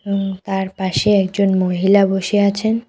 তার পাশে একজন মহিলা বসে আছেন।